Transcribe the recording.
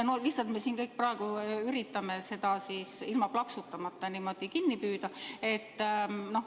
Nüüd me kõik siin üritame seda niimoodi ilma plaksutamata kinni püüda.